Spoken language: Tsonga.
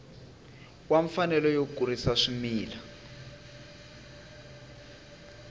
wa mfanelo yo kurisa swimila